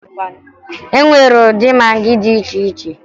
E nwere ụdị magị dị iche iche